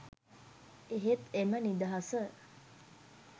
එහෙත් එම නිදහස